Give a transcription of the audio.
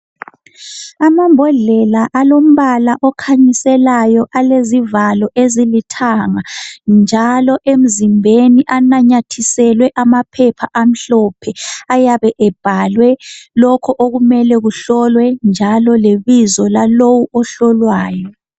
Amambodlela alombala okhanyiselayo alezivalo ezilithanga njalo emzimbeni ananyithiselwe amaphepha amhlophe ayebe ebhalwe lokho okumele kuhlolwe njalo lebizo lalo ohlolwayo.